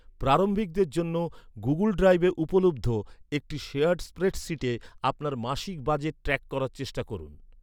প্রারম্ভিকদের জন্য, গুগুল ড্রাইভে উপলব্ধ, একটি শেয়ার্ড স্প্রেডশীটে, আপনার মাসিক বাজেট ট্র্যাক করার চেষ্টা করুন৷